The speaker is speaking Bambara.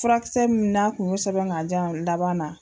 Furakisɛ min na kun y'o sɛbɛn ka jan laban na.